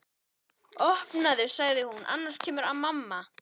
Opnaðu sagði hún, annars kemur mamma